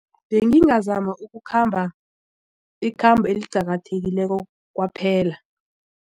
Bengizama ukukhamba ikhambo eliqakathekileko kwaphela.